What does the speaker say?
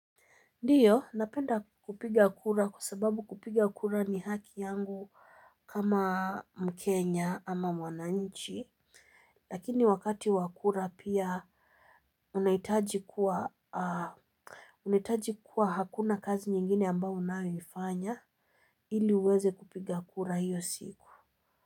Ndiyo, napenda kupiga kura kwa sababu kupiga kura ni haki yangu kama mkenya ama mwananchi. Lakini wakati wakura pia unahitaji kuwa hakuna kazi nyingine ambayo unayoifanya ili uweze kupiga kura hiyo siku.